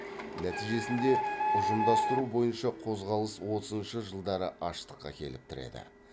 нәтижесінде ұжымдастыру бойынша қозғалыс отызыншы жылдары аштыққа әкеліп тіреді